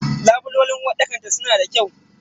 Labulen uwarɗakar ta suna da kyau.